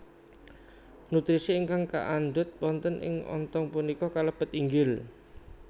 Nutrisi ingkang kaandhut wonten ing ontong punika kalebet inggil